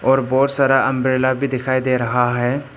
और बहुत सारा अंब्रेला भी दिखाई दे रहा है।